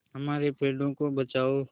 हमारे पेड़ों को बचाओ